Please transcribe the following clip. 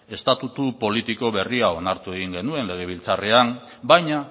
estatutu politiko berria onartu egin genuen legebiltzarrean baina